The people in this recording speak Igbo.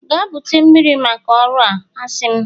Gaa bute mmiri maka ọrụ a, a sị m!